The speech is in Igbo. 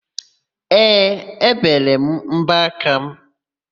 Ee, ébèrè m mbọaka mụ.